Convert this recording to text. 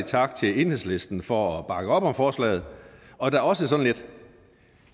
tak til enhedslisten for at bakke op om forslaget og da også sådan et